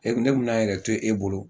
Ne bɛna n yɛrɛ to e bolo